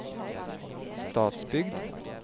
Stadsbygd